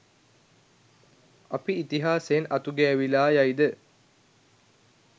අපි ඉතිහාසයෙන් අතුගෑවිලා යයිද?